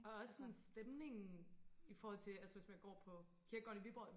og også sådan stemningen i forhold til altså hvis man går på kirkegården i Viborg